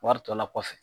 Wari tɔ la kɔfɛ